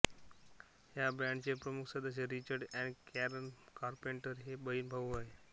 या बँड चे प्रमुख सदस्य रिचर्ड आणि कॅरन कारपेंटर हे बहीण भाऊ होते